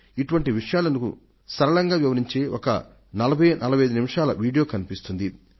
ఇటువంటి విషయాలను సరళంగా వివరించే ఒక 4045 నిమిషాల వీడియో కనిపిస్తుంది